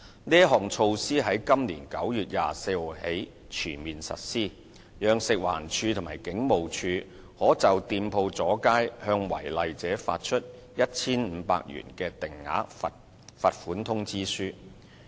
這項措施於今年9月24日起全面實施，讓食物環境衞生署及香港警務處可就店鋪阻街向違例者發出 1,500 元的定額罰款通知書。